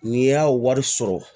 N'i y'a wari sɔrɔ